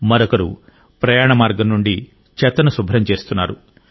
మరొకరు ప్రయాణ మార్గం నుండి చెత్తను శుభ్రం చేస్తున్నారు